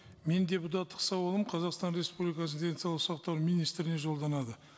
менің депутаттық сауалым қазақстан республикасы денсаулық сақтау министріне жолданады